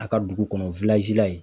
A ka dugu kɔnɔ la yen.